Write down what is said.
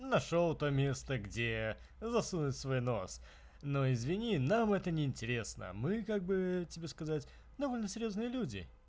нашёл то место где засунуть свой нос но извини нам это неинтересно мы как бы тебе сказать довольно серьёзные люди